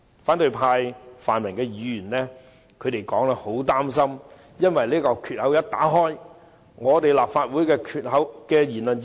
反對派、泛民議員一直擔心，一旦開了先例，立法會便會失去言論自由。